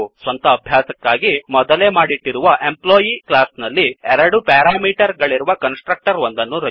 ಸ್ವಂತ ಅಭ್ಯಾಸಕ್ಕಾಗಿ ಮೊದಲೇ ಮಾಡಿಟ್ಟಿರುವ Employeಎಂಪ್ಲೊಯೀ ಕ್ಲಾಸ್ ನಲ್ಲಿ ಎರಡು ಪೆರಾಮೀಟರ್ ಗಳಿರುವ ಕನ್ಸ್ ಟ್ರಕ್ಟರ್ ಒಂದನ್ನು ರಚಿಸಿ